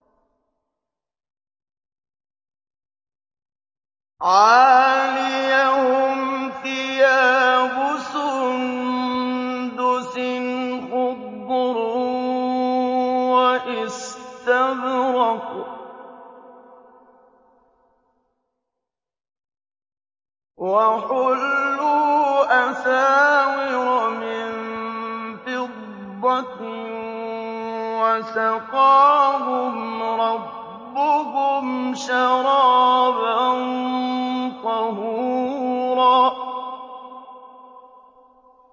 عَالِيَهُمْ ثِيَابُ سُندُسٍ خُضْرٌ وَإِسْتَبْرَقٌ ۖ وَحُلُّوا أَسَاوِرَ مِن فِضَّةٍ وَسَقَاهُمْ رَبُّهُمْ شَرَابًا طَهُورًا